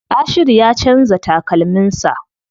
Ashiru ya canza takalmin sa.